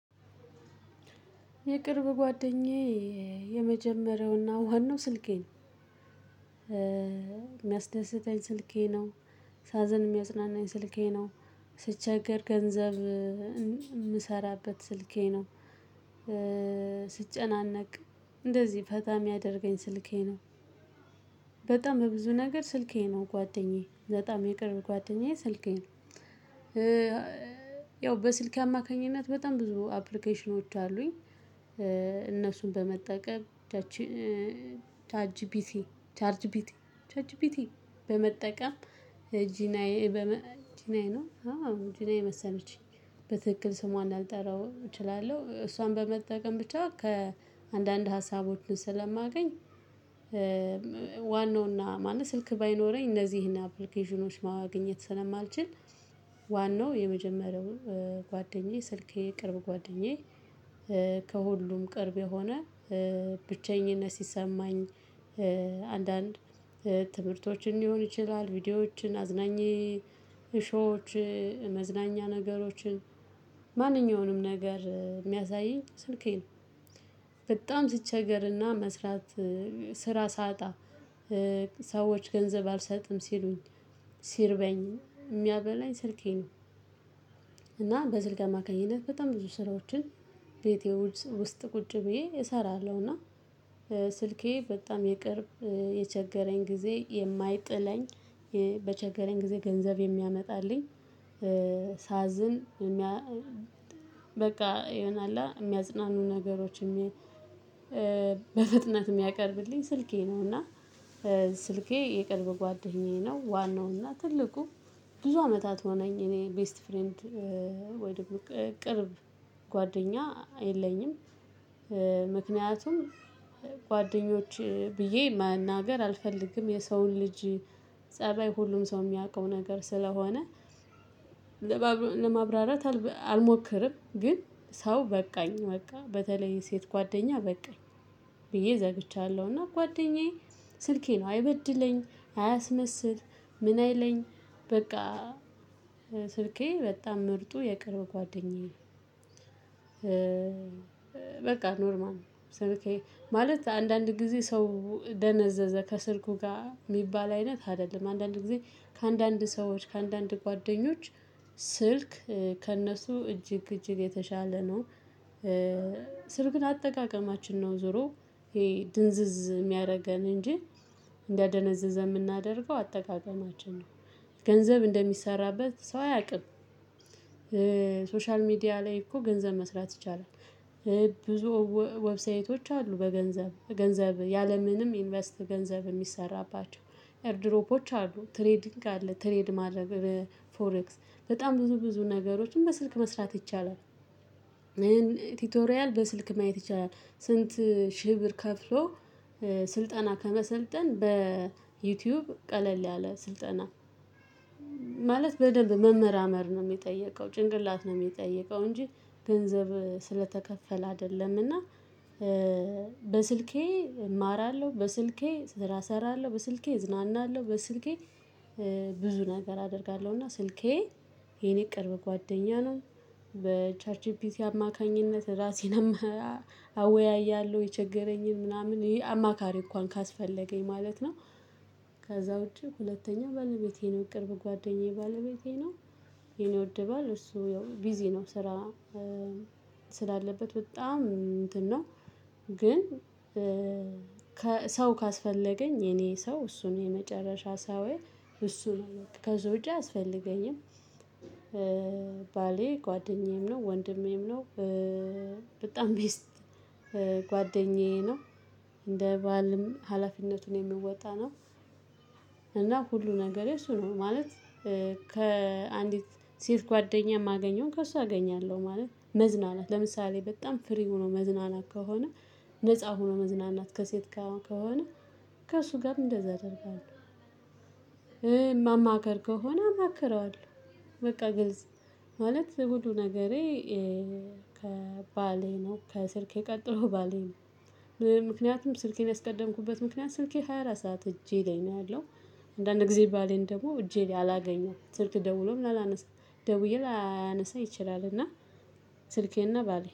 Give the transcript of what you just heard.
የቅርብ ጓደኛዬ የመጀመሪያውና ዋናው ስልኬ ነው። የሚያስደስተኝ ስልኬ ነው። ሳዘን የሚያስደስተኝ ስልኬ ነው። ስቸገር ገንዘብ የምሰራበት ስልኬ ነው። ስጨናነቅ እንደዚህ ፈታ የሚያደርገኝ ስልኬ ነው። በጣም በብዙ ነገር ስልኬ ነው ጓደኛዬ በጣም የቅርብ ጓደኛዬ ስልኬ ነው። ያው በስልኬ አማካኝነት በጣም ብዙ አፕሊኬሽኖች አሉኝ። እነሱን በመጠቀም ቻርጅ ቢቲ ቻርጅ ቢቲ ቻት ጂፒቲ በመጠቀም ጂናዬ ጂናዬ ነው። ጂናዬ መሰለችኝ በትክክል ስሟን ላልጠራው እችላለሁ እሷን በመጠቀም ብቻ ከአንዳንድ ሀሳቦችን ስለማገኝ። ዋናውና ማንም ስልክ ባይኖረኝ እነዚህን አፕሊኬሽኖች ማግኘት ስለማልችል ዋናው የመጀመሪያውን ጓደኛዬ ስልኬ ቅርብ ጓደኛዬ። ከሁሉም ቅርብ የሆነ ብቸኝነት ሲሰማኝ አንዳንድ ትምህርቶችን ሊሆን ይችላል ቪዲዮዎችን አዝናኜ ሾዎች መዝናኛ ነገሮችን ማንኛውንም ነገር የሚያሳይኝ ስልኬ ነው። በጣም ሲቸገርና መስራት ስራ ሳጣ ሰዎች ገንዘብ አልሰጥም ሲሉኝ ሲርበኝ የሚያበላኝ ስልኬ ነው። እና በስልኬ አማካኝነት በጣም ብዙ ስራዎችን ቤቴ ውስጥ ቁጭ ብዬ እሰራለሁና ስልኬ በጣም የቅርብ የቸገረኝ ጊዜ የማይጥለኝ። በቸገረኝ ጊዜ ገንዘብ የሚያመጣልኝ። ሳዝን የሚያ በቃ ይሆናል የሚያጽናኑ ነገሮች የሚያ በፍጥነት የሚያቀርብልኝ ስልኬ ነው። እና ስልኬ የቅርብ ጓደኛዬ ነው። ዋናው እና ትልቁ ብዙ አመታት ሆነኝ እኔ ቤስት ፍሬንድ ወይ ደግሞ ቅርብ ጓደኛ የለኝም። ምክንያቱም ጓደኞች ብዬ መናገር አልፈልግም የሰውን ልጅ ፀባይ ሁሉም ሰው የሚያውቀው ነገር ስለሆነ። ለማብራራት አልሞክርም ግን ሰው በቃኝ በቃ በተለይ ሴት ጓደኛ በቃኝ ብዬ ዘግቻለሁና። ጓደኛዬ ስልኬ ነው አይበድለኝ አያስመስል ምን አይለኝ በቃ ስልኬ በጣም ምርጡ የቅርብ ጓደኛዬ። በቃ ኖርማል ነው። ስልኬ ማለት አንዳንድ ጊዜ ሰው ደነዘዘ ከስልኩ ጋር የሚባል አይነት አይደለም። አንዳንድ ጊዜ ከአንዳንድ ሰዎች ከአንዳንድ ጓደኞች ስልክ ከእነሱ እጅግ እጅግ የተሻለ ነው። ስልክን አጠቃቀማችን ነው ዞሮ ይሄ ድንዝዝ የሚያደርገን እንጂ እንዲያነዝዘን የምናደርገው አጠቃቀማችን ነው። ገንዘብ እንደሚሰራበት ሰው አያውቅም። ሶሻል ሚዲያ ላይ እኮ ገንዘብ መስራት ይቻላል። ብዙ ዌብሳይቶች አሉ በገንዘብ ገንዘብ ያለምንም ኢንቨስት ገንዘብ የሚሰራባቸው ኤርድሮፖች አሉ ትሬዲንግ አለ ትሬድ ማድረግ በፎሬክስ በጣም ብዙ ብዙ ነገሮችን በስልክ መስራት ይቻላል። ይሄን ቲቶሪያል በስልክ ማየት ይቻላል ስንት ሺ ብር ከፍሎ ስልጠና ከመሰልጠን በዩቲዩብ ቀለል ያለ ስልጠና። ማለት በደንብ መመራመር ነው የሚጠየቀው ጭንቅላት ነው የሚጠየቀው እንጂ ገንዘብ ስለተከፈለ አይደለምና። በስልኬ እማራለሁ በስልኬ ስራ እሰራለሁ በስልኬ እዝናናለሁ በስልኬ ብዙ ነገር አደርጋለሁ እና ስልኬ የኔ ቅርብ ጓደኛ ነው። በቻት ጂፒቲ አማካኝነት ራሴን አወያያለሁ የቸገረኝን ምናምን ይሄ አማካሪ እንኳን ካስፈለገኝ ማለት ነው። ከዛ ውጪ ሁለተኛ ባለቤቴ ነው ቅርብ ጓደኛዬ ባለቤቴ ነው። የኔ ወድ ባል እሱ ያው ቢዚ ነው ስራ ስላለበት በጣም እንትን ነው። ግን ሰው ካስፈለገኝ የኔ ሰው እሱን የመጨረሻ ሰው እሱን ከዛ ውጪ አያስፈልገኝም። ባሌ ጓደኛዬም ነው ወንድሜም ነው። በጣም ቤስት ጓደኛዬ ነው። እንደ ባልም ሀላፊነቱን የሚወጣ ነው። እና ሁሉ ነገሬ እሱ ነው ማለት። ከአንዲት ሴት ጓደኛ የማገኘውን ከሷ አገኛለሁ ማለት መዝናናት ለምሳሌ በጣም ፍሪ ሆኖ መዝናናት ከሆነ ነፃ ሆኖ መዝናናት ከሴት ጋር ከሆነ ከእሱ ጋር እንደዛ አደርጋለሁ። ማማከር ከሆነ አማክረዋለሁ በቃ ግልጽ ማለት ሁሉ ነገሬ። ከባሌ ነው ከስልኬ ቀጥሎ ባሌ ነው። ምክንያቱም ስልኬን ያስቀደምኩበት ምክንያት ስልኬ ሃያ አራት ሰዓት እጄ ላይ ነው ያለው። አንዳንድ ጊዜ ባሌን ደግሞ እጄ ላይ አላገኘውም ስልክ ደውሎም አላነሳም ደውዬ ላያነሳ ይችላል እና። ስልኬና ባሌ